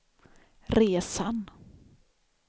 resan